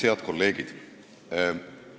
Head kolleegid!